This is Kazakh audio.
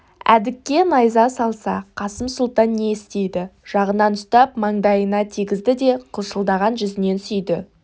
әдікке найза салса қасым сұлтан не істейді жағынан ұстап маңдайына тигізді де қылшылдаған жүзінен сүйді